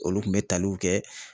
Olu kun bɛ taliw kɛ.